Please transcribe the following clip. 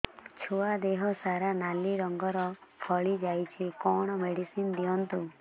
ଛୁଆ ଦେହ ସାରା ନାଲି ରଙ୍ଗର ଫଳି ଯାଇଛି କଣ ମେଡିସିନ ଦିଅନ୍ତୁ